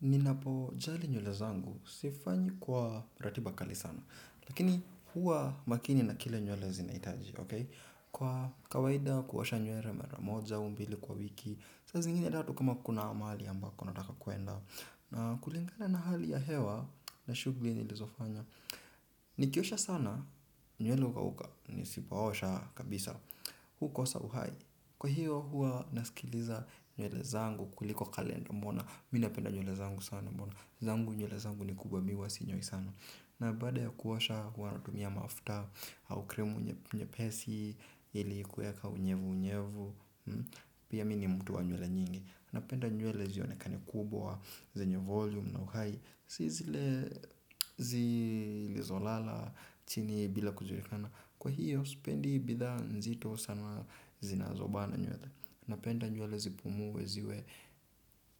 Ninapojali nywele zangu sifanyi kwa ratiba kali sana. Lakini huwa makini na kile nywele zinahitaji. Kwa kawaida kuosha nywele mara moja au mbili kwa wiki. Saa zingini ya tatu kama kuna mahali ambako nataka kuenda. Na kulingana na hali ya hewa na shughuli nilizofanya. Nikiosha sana nywele hukauka nisipoosha kabisa. Hukosa uhai. Kwa hiyo huwa nasikiliza nywele zangu kuliko kalenda mbona. Mi napenda nywele zangu sana mbona. Zangu nywele zangu ni kubwa mi huwa sinyoi sana. Na baada ya kuosha huwa natumia mafuta au krimu nye lpesi. Ili kueka unyevu unyevu. Pia mi ni mtu wa nywele nyingi napenda nywele zionekane kubwa. Zenye volume na uhai. Si zile zilizo lala chini bila kujulikana. Kwa hiyo sipendi bidhaa nzito sana zinazobana nywele napenda nywele zipumue ziwe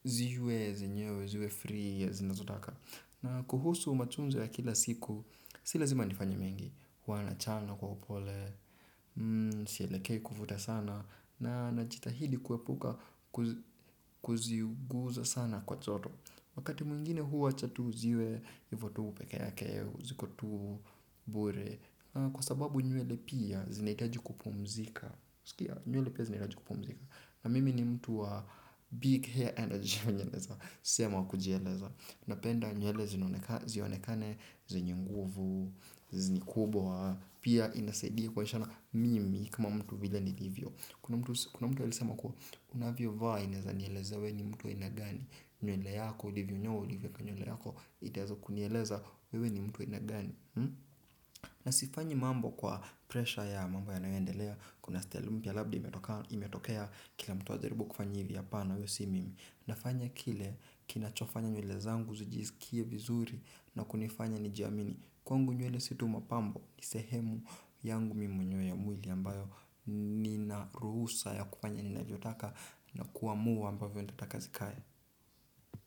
ziwe zenyewe ziwe free zinazotaka na kuhusu matunzo ya kila siku, si lazima nifanye mengi, huwa nachana kwa upole, sielekei kuvuta sana, na najitahidi kuepuka kuziguza sana kwa joto. Wakati mwingine huacha tu ziwe, hivo tu pekee yake, ziko tu bure, na kwa sababu nywele pia zinitaji kupumzika. Sikia, nywele pia zinitaji kupumzika. Na mimi ni mtu wa big hair energy naeza sema kujieleza. Napenda nywele zionekane, zenye nguvu, ni kubwa. Pia inasaidia kuonyeshana mimi kama mtu vile nilivyo. Kuna mtu alisema kuwa unavyvaa inaeza nielezea we ni mtu wa aina gani. Nywele yako, ulivyonyoa ulivyoweka nywele yako. Itaeza kunieleza wewe ni mtu wa aina gani. Na sifanyi mambo kwa presha ya mambo yanayoendelea. Kuna style mpya labda imetokea kila mtu ajaribu kufanya hivi hapana huyo si mimi. Nafanya kile kinachofanya nywele zangu zijisikie vizuri na kunifanya nijiamini. Kwangu nywele si tu mapambo ni sehemu yangu mi mwenyewe ya mwili ambayo nina ruhusa ya kufanya ninavyotaka na kuamua ambavyo nitataka zikae.